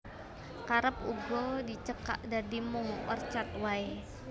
Kerep uga dicekak dadi mung Orchard waé